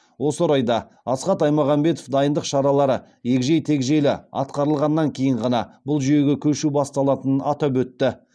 осы орайда асхат аймағамбетов дайындық шаралары егжей тегжейлі атқарылғаннан кейін ғана бұл жүйеге көшу басталатынын атап өтті